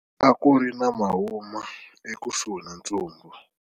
A ku ri na mahuma ekusuhi na ntsumbu.